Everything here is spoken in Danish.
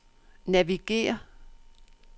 navigér